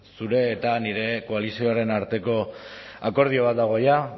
zure eta nire koalizioaren arteko akordio bat dago jada